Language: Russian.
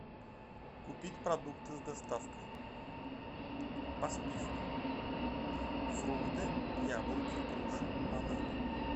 купить продукты с доставкой по списку фрукты яблоки груши бананы